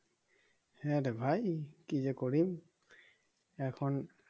হ্যাঁ রে ভাই কি যে করি এখন